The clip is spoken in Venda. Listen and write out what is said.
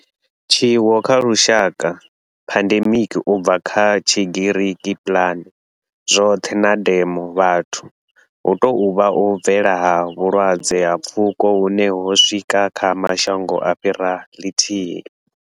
Tshiwo tsha lushaka, pandemic, u bva kha Tshigiriki pan, zwothe na demos, vhathu, hu tou vha u bvelela ha vhulwadze ha pfuko hune ho swika kha mashango a fhiraho lithihi.